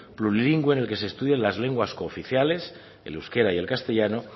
plurilingüe en el que se estudia las lenguas cooficiales el euskera y el castellano